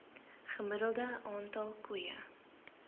gemiddelde aantal koeie